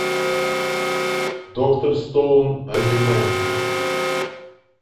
доктор стоун аниме